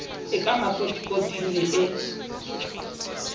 e ka makotikoting le e